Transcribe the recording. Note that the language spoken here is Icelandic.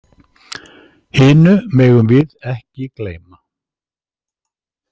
Hinu megum við ekki gleyma.